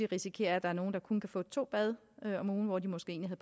risikere at der er nogle der kun kan få to bade om ugen hvor de måske egentlig